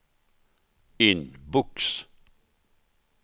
inbox